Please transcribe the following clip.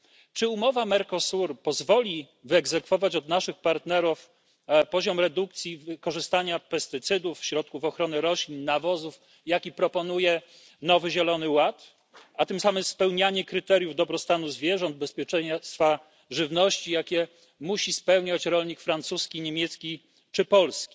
Czy umowa z Mercosurem pozwoli wyegzekwować od naszych partnerów poziom redukcji wykorzystania pestycydów, środków ochrony roślin, nawozów, jaki proponuje nowy zielony ład, a tym samym spełnianie kryteriów dobrostanu zwierząt, bezpieczeństwa żywności, jakie musi spełniać rolnik francuski, niemiecki czy polski?